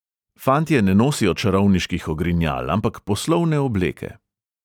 Fantje ne nosijo čarovniških ogrinjal, ampak poslovne obleke.